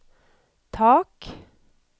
tak